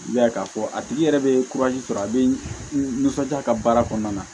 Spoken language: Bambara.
I b'a ye k'a fɔ a tigi yɛrɛ bɛ sɔrɔ a bɛ n nisɔndiya ka baara kɔnɔna na